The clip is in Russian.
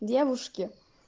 девушки